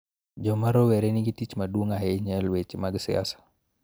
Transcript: Joma rowere nigi tich maduong� ahinya e weche mag siasa.